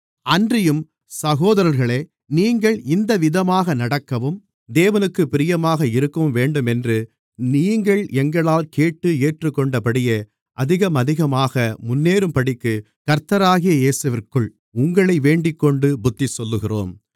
அன்றியும் சகோதரர்களே நீங்கள் இந்தவிதமாக நடக்கவும் தேவனுக்குப் பிரியமாக இருக்கவும்வேண்டுமென்று நீங்கள் எங்களால் கேட்டு ஏற்றுக்கொண்டபடியே அதிகமதிகமாக முன்னேறும்படிக்கு கர்த்தராகிய இயேசுவிற்குள் உங்களை வேண்டிக்கொண்டு புத்திசொல்லுகிறோம்